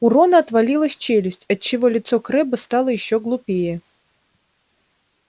у рона отвалилась челюсть отчего лицо крэбба стало ещё глупее